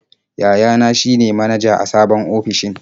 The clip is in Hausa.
Yayana shi ne manaja a sabon ofishin.